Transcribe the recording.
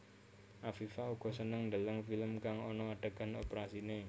Afifa uga seneng ndeleng film kang ana adegan oprasiné